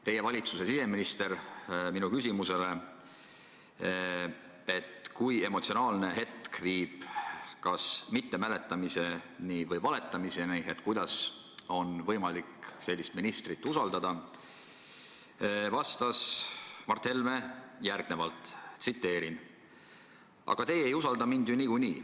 Teie valitsuse siseminister Mart Helme vastas minu küsimusele, et kui emotsionaalne hetk viib kas mittemäletamise või valetamiseni, siis kuidas on võimalik sellist ministrit usaldada, järgnevalt: "Aga teie ei usalda mind ju niikuinii.